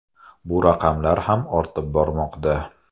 Bu raqamlar ham ortib bormoqda.